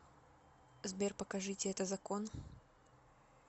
сбер покажите это закон